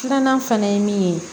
Filanan fana ye min ye